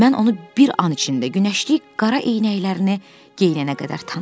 Mən onu bir an içində günəşlik qara eynəklərini geyinənə qədər tanıdım.